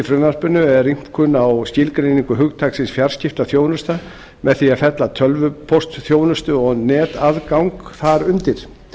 frumvarpinu er rýmkun á skilgreiningu hugtaksins fjarskiptaþjónusta með því að fella tölvupóstsþjónustu og netaðgang þar undir